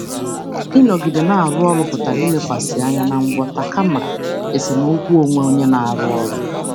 Ịnọgide dị ka ọkachamara pụtara ilekwasị anya na ngwọta kama esemokwu onwe n'ebe ọrụ.